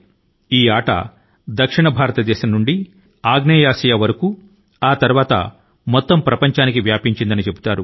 ఈ ఆట దక్షిణ భారతదేశం నుండి ఆగ్నేయాసియా వరకు తరువాత మిగిలిన ప్రపంచాని కి చేరిందని చెబుతారు